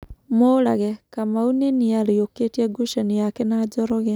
Murage: Kamau nĩ nĩarĩukitie gũcanio yake na Njoroge.